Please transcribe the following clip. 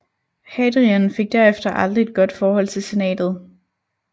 Hadrian fik derefter aldrig et godt forhold til senatet